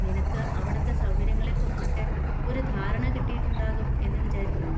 നിനക്ക് അവിടുത്തെ സൗകര്യങ്ങളെക്കുറിച്ചൊക്കെ ഒരു ധാരണ കിട്ടിയിട്ടുണ്ടാകും എന്ന് വിചാരിക്കുന്നു.